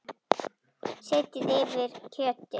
Setjið yfir kjötið.